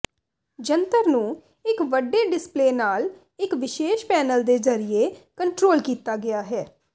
ਜੰਤਰ ਨੂੰ ਇੱਕ ਵੱਡੇ ਡਿਸਪਲੇਅ ਨਾਲ ਇੱਕ ਵਿਸ਼ੇਸ਼ ਪੈਨਲ ਦੇ ਜ਼ਰੀਏ ਕੰਟਰੋਲ ਕੀਤਾ ਗਿਆ ਹੈ